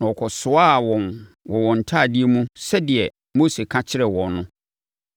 Na wɔkɔsoaa wɔn wɔ wɔn ntadeɛ mu sɛdeɛ Mose aka akyerɛ wɔn no.